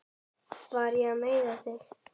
Var ég að meiða þig?